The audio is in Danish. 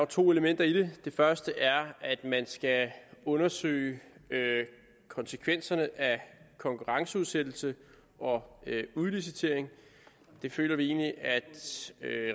to elementer i det det første er at man skal undersøge konsekvenserne af konkurrenceudsættelse og udlicitering det føler vi egentlig at